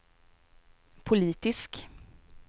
politisk